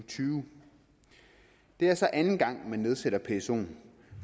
tyve det er så anden gang man nedsætter psoen